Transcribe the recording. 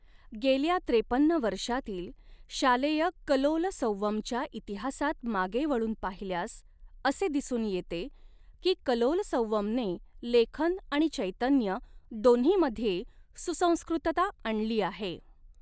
गेल्या त्रेपन्न वर्षातील शालेय कलोलसंवमच्या इतिहासात मागे वळून पाहिल्यास असे दिसून येते की कलोलसंवमने लेखन आणि चैतन्य दोन्हीमध्ये सुसंस्कृतता आणली आहे.